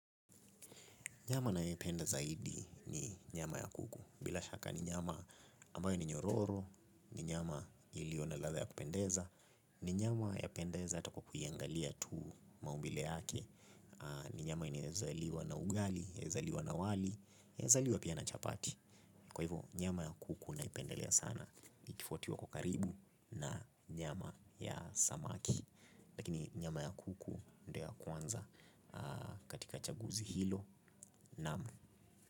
Nyama nayoipenda zaidi ni nyama ya kuku. Bila shaka ni nyama ambayo ni nyororo, ni nyama ilio na ladha ya kupendeza, ni nyama yapendeza ata kwa kuiangalia tu maumbile yake. Ni nyama inezaliwa na ugali, inezaliwa na wali, inezaliwa pia na chapati. Kwa hivyo, nyama ya kuku naipendalea sana, ikifwatiwa kwa ukaribu na nyama ya samaki. Lakini nyama ya kuku ndiyo ya kwanza katika chaguzi hilo naam.